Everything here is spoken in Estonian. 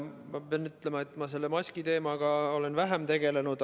Ma pean ütlema, et ma selle maskiteemaga olen vähem tegelenud.